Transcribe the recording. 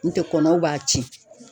N tɛ kɔnɔw b'a tiɲɛn.